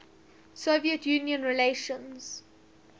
soviet union relations